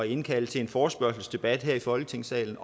indkalde til en forespørgselsdebat her i folketingssalen